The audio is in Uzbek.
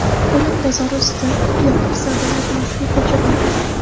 Qo‘yliq bozori usti yopiq savdo majmuasiga ko‘chiriladi.